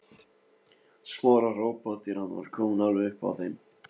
Smára hrópa þegar hann var kominn alveg upp að þeim.